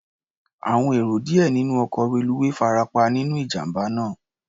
Àwọn èrò díẹ̀ nínú ọkọ̀ reluwé farapa nínú ìjàm̀bá náà.